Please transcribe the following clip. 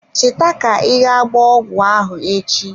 Cheta ka I ga gbaa ọgwụ ahụ echi.